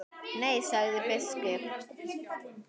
Nei, sagði biskup.